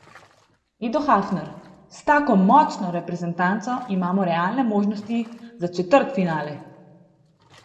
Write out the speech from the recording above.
Edo Hafner: 'S tako močno reprezentanco imamo realne možnosti za četrtfinale.